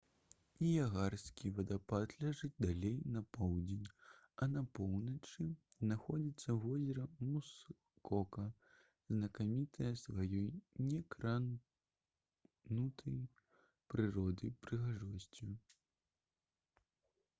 ніягарскі вадаспад ляжыць далей на поўдзень а на поўначы знаходзіцца возера мускока знакамітае сваёй некранутай прыроднай прыгажосцю